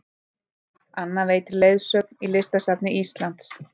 Anna veitir leiðsögn í Listasafni Íslands